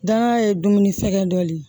Danga ye dumuni sɛgɛn dɔ de ye